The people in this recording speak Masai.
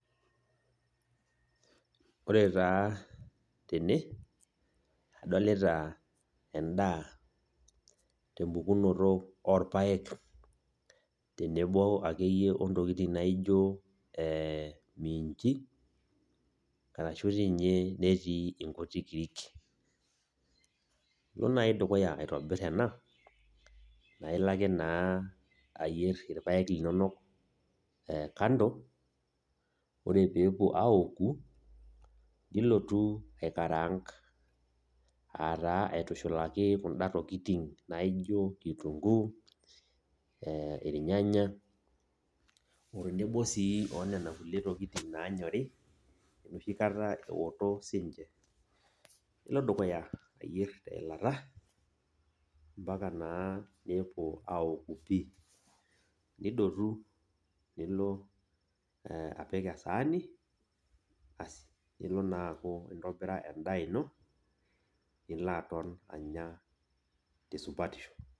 Ore taa tene, adolita endaa tempukunoto orpaek, tenebo akeyie ontokiting' naijo minji, arashu ninye netii inkuti kirik. Ilo nai dukuya aitobir ena, na ilo ake naa ayier irpaek linonok kando, ore pepuo aoku, nilotu aikaraank. Ataa aitushulaki kunda tokiting' naijo kitunkuu, irnyanya, o tenebo si onena kulie tokiting' naanyori, enoshi kata eoto sinche. Nilo dukuya ayierr teilata, mpaka naa nepuo aoku pi. Nidotu nilo apik esaani, asi nilo naaku intobira endaa ino, nilo aton anya tesupatisho.